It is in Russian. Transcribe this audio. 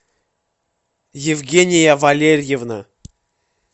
евгения валерьевна